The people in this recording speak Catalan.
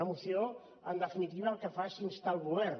una moció en definitiva el que fa és instar el govern